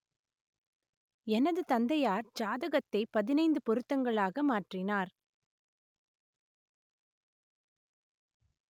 எனது தந்தையார் ஜாதகத்தைப் பதினைந்து பொருத்தங்களாக மாற்றினார்